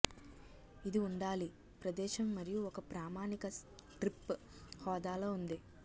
ఇది ఉండాలి ప్రదేశం మరియు ఒక ప్రామాణిక స్ట్రిప్ హోదాలో ఉంది